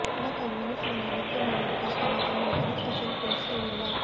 ಹಣಕ್ಕಾಗಿ ಮನುಷ್ಯನೊಂದಿಗೆ ನಿದ್ರೆ ಮಾಡುವುದು ಕಷ್ಟ ಮತ್ತು ಅವನಿಗೆ ಕನಿಷ್ಠ ಸ್ವಲ್ಪ ಇಷ್ಟವಿಲ್ಲ